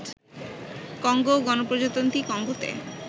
Congo ও গণপ্রজাতন্ত্রী কঙ্গোতে